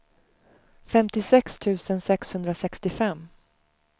femtiosex tusen sexhundrasextiofem